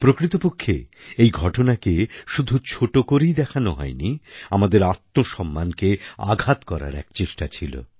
প্রকৃতপক্ষে এই ঘটনাকে শুধু ছোট করেই দেখান হয়নি আমাদের আত্মসম্মানকে আঘাত করার এক চেষ্টা ছিল